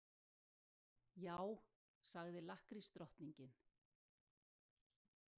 Já, sagði lakkrísdrottningin.